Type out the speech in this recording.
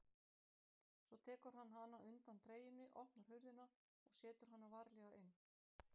Svo tekur hann hana undan treyjunni, opnar hurðina og setur hana varlega inn.